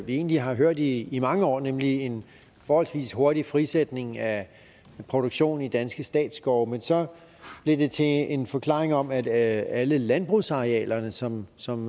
vi egentlig har hørt i i mange år nemlig en forholdsvis hurtig frisætning af produktion i danske statsskove men så blev det til en forklaring om at alle landbrugsarealerne som som